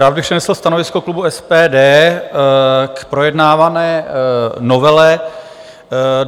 Rád bych přednesl stanovisko klubu SPD k projednávané novele.